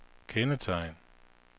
kendetegn